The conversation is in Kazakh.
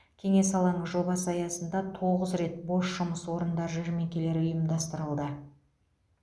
кеңес алаңы жобасы аясында тоғыз рет бос жұмыс орындар жәрмеңкелері ұйымдастырылды